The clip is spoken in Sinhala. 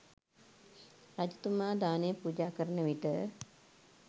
රජතුමා දානය පූජා කරන විට